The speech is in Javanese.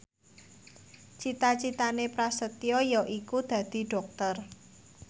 cita citane Prasetyo yaiku dadi dokter